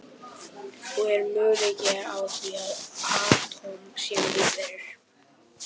Og er möguleiki á því að atóm séu lífverur?